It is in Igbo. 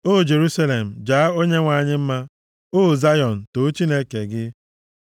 O Jerusalem, jaa Onyenwe anyị mma; o Zayọn, too Chineke gị.